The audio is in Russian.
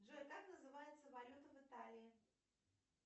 джой как называется валюта в италии